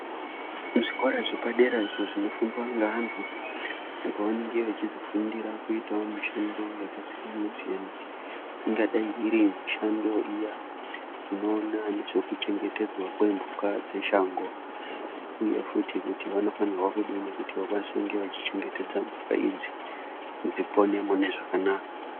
Muzvikora zvepadera izvo zvinofundwa ngevantu pavanenge vachizofundira kuite mishando yakasiyana-siyana, ingadai iri mishando iya inoona nezvekuchengetedza kwemhuka dzeshango ,uye futi kuti vanofanirwa kunge vachichengetedza mhuka idzi kuti dzipone mune zvakanaka.